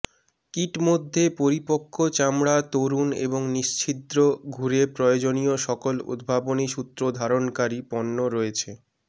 kit মধ্যে পরিপক্ক চামড়া তরুণ এবং নিশ্ছিদ্র ঘুরে প্রয়োজনীয় সকল উদ্ভাবনী সূত্র ধারণকারী পণ্য রয়েছে